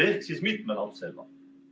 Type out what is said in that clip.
Ehk siis mitme lapsega.